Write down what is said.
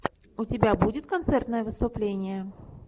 у тебя будет концертное выступление